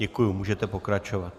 Děkuji, můžete pokračovat.